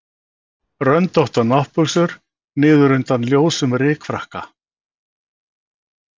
Röndóttar náttbuxur niður undan ljósum rykfrakka.